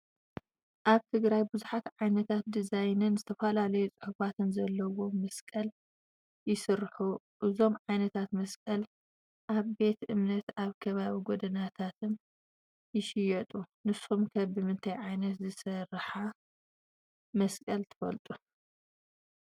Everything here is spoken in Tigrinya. ኣብ ትግራይ ብዙሓት ዓይነት ድዛይንን ዝተፈላለዩ ፅሑፋትን ዘለዎም መሳቅል ይስርሑ። እዞም ዓይነታት መሳቅል ኣብ ቤተ እምነታት ኣብ ከባቢ ጎደናታትን ይሽየጡ። ንስኹም ኸ ብምንታይ ዓይነት ዝተሰርሓ መቅሰል ትፈልዉ?